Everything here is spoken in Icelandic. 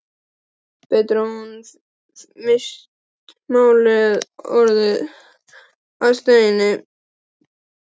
Betur að hún hefði misst málið, orðið að steini.